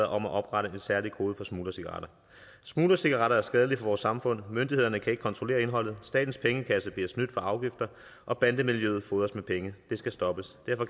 om at oprette en særlig kode for smuglercigaretter smuglercigaretter er skadelige vores samfund myndighederne kan ikke kontrollere indholdet statens pengekasse bliver snydt for afgifter og bandemiljøet fodres med penge det skal stoppes derfor